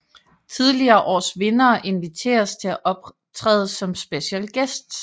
Tidligere års vindere inviteres til at optræde som special guests